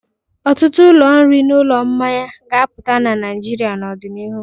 Ọtụtụ ụlọ nri na ụlọ mmanya ga-apụta na Naịjirịa n'ọdịnihu.